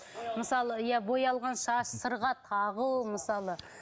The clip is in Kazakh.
мысалы иә боялған шаш сырға тағу мысалы